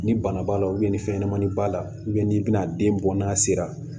Ni bana b'a la ni fɛnɲɛnamani b'a la n'i bɛna den bɔ n'a sera